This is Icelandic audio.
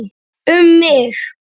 Um mig?